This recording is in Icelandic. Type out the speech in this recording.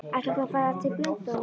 Ætlar þú að fara til Blönduóss?